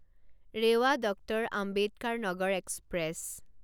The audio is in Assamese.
Rewa doctor Ambedkar Nagar express